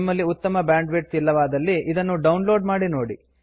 ನಿಮ್ಮಲ್ಲಿ ಉತ್ತಮ bandwidth ಇಲ್ಲವಾದಲ್ಲಿ ಇದನ್ನು ಡೌನ್ ಲೋಡ್ ಮಾಡಿ ನೋಡಿ